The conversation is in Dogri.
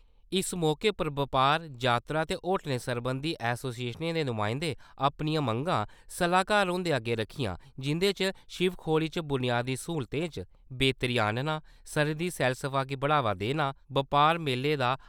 इस मौके बपार , यात्रा ते होटलें सरबंधी एसोसिएशनें दे नुमाइंदें अपनिआं मंगां सलाहकार हुंदे अग्गे रक्खिआं जिंदे च शिवखोड़ी च बुनियादी स्हूलतें च बेहतरी आह्नना , सरहदी सैलसफा गी बढ़ावा देना , बपार मेलें दा